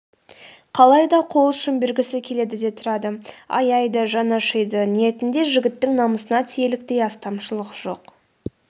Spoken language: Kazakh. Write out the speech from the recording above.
қалай да қол ұшын бергісі келеді де тұрады аяйды жаны ашиды ниетінде жігіттің намысына тиерліктей астамшылық жоқ